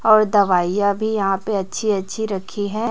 और दवाई अभी यहां पे अच्छी अच्छी रखी है।